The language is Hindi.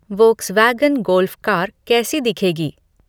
वोक्सवैगन गोल्फ़ कार कैसी दिखेगी